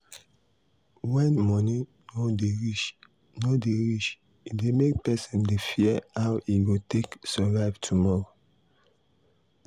when money no dey reach no dey reach e dey make person dey fear how e go take survive tomorrow.